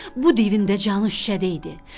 Bu divin də canı şüşədə idi.